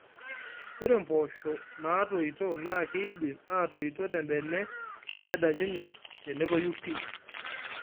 Ore mpoosho naatoito NAA kidim atototi tebene nedanyunye tenotoyu pii